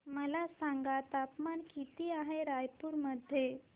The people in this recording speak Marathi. मला सांगा तापमान किती आहे रायपूर मध्ये